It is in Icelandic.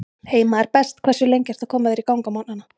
Heima er best Hversu lengi ertu að koma þér í gang á morgnanna?